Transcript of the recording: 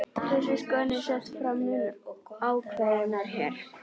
Þessi skoðun er sett fram mun ákveðnar hér.